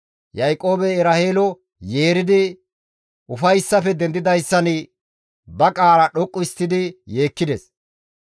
Yaaqoobey Eraheelo yeeridi ufayssafe dendidayssan ba qaala dhoqqisidi yeekkides.